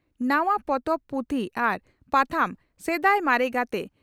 ᱱᱟᱣᱟ ᱯᱚᱛᱚᱵ, ᱯᱩᱛᱷᱤ ᱟᱨ ᱯᱟᱛᱷᱟᱢ ᱥᱮᱫᱟᱭ ᱢᱟᱨᱮ ᱜᱟᱛᱮ